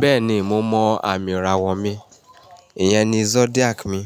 Bẹ́ẹ̀ni, mo mọ àmì ìràwọ̀ mi. Ìyẹn ni zodiac mi.